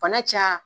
Bana ca